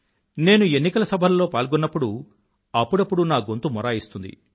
నేను ఎన్నికల సభల్లో పాల్గొన్నప్పుడు అప్పుడప్పుడు నా గొంతు మొరాయిస్తుంది